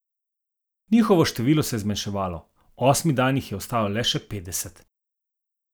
Njihovo število se je zmanjševalo, osmi dan jih je ostalo le še petdeset.